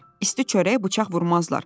İsti çörək bıçaq vurmazlar.